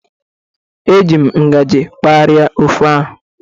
Eji m ngaji kpalie ofe ahu.